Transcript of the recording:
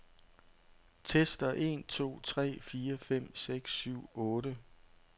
Tester en to tre fire fem seks syv otte.